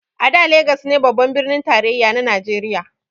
A da Legas ne babban birnin tarayya na najeriya